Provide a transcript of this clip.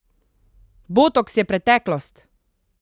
Botoks je preteklost!